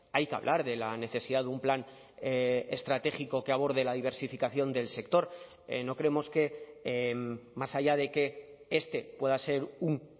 hay que hablar de la necesidad de un plan estratégico que aborde la diversificación del sector no creemos que más allá de que este pueda ser un